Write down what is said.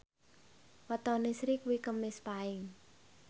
wetone Sri kuwi Kemis Paing